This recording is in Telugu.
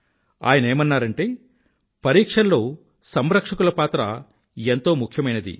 ఆయనేమన్నారంటే పరీక్షల్లో సంరక్షకుల పాత్ర ఎంతో ముఖ్యమైనది